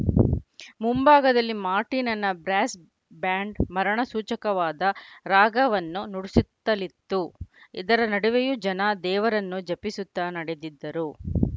ಮುಂಭಾಗದಲ್ಲಿ ಮಾರ್ಟಿನನ brass band ಮರಣ ಸೂಚಕವಾದ ರಾಗವನ್ನ ನುಡಿಸುತ್ತಲಿತ್ತು ಇದರ ನಡುವೆಯೂ ಜನ ದೇವರನ್ನ ಜಪಿಸುತ್ತ ನಡೆದಿದ್ದರು